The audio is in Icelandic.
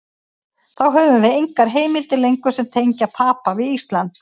Þá höfum við engar heimildir lengur sem tengja Papa við Ísland.